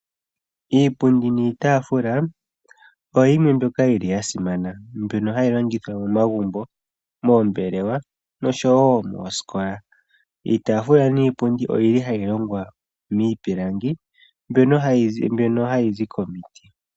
Iipundi niitaafula oyo yimwe mbyoka ya simana, mbyoka hayi longithwa momagumbo, moombelewa noshowo moosikola. Iitaafula niipundi ohayi longwa miipilangi mbyoka hayi zi komiti.